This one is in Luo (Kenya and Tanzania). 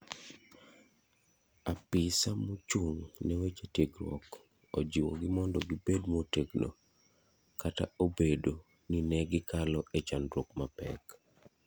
Apisa mochung' ne weche tiegruok ojiwo gi mondo gibed motegno kata obedo ne ne gikalo e chandruok mapek.